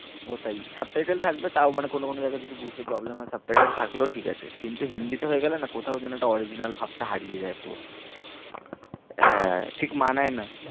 ওটাই subtitle থাকবে তাও মানে কোনো কোনো জায়গায় যদি বুঝতে problem হয় subtitle থাকলেও ঠিক আছে, কিন্তু হিন্দিতে হয়ে গেলে না কোথাও যেনো একটা original ভাবটা হারিয়ে যায় পুরো হ্যাঁ, ঠিক মানায় না।